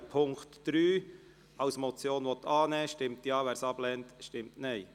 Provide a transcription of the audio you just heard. Wer den Punkt 3 als Motion annehmen will, stimmt Ja, wer es ablehnt, stimmt Nein.